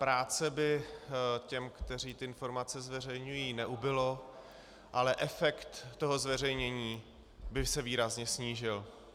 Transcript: Práce by těm, kteří ty informace zveřejňují, neubylo, ale efekt toho zveřejnění by se výrazně snížil.